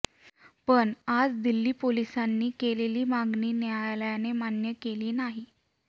पण आज दिल्ली पोलिसांनी केलेली मागणी न्यायालयाने मान्य केलेली नाही